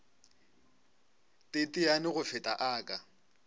teteane go feta a ka